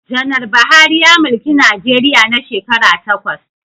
Janar Buhari ya mulki Najeriya na shekara takwas